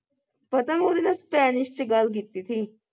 ਪਤਾ ਮੈਂ ਉਹਦੇ ਨਾਲ ਸਪੈਨਿਸ਼ ਵਿੱਚ ਗੱਲ ਕੀਤੀ ਸੀ